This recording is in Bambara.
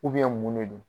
mun de don